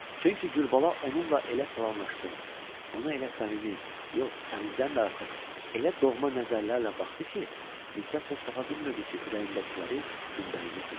Çünki Gülbala onunla elə salamlaşdı, ona elə səmimi, yox səmimidən də artıq, elə doğma nəzərlərlə baxdı ki, Nisə söz tapa bilmirdi ki, ürəyindəkiləri gündəliyinə köçürsün.